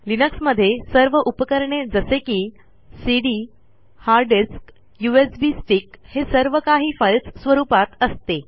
लिनक्समधे सर्व उपकरणे जसे की CD hard disk USB stick हे सर्व काही फाईलस स्वरूपात असते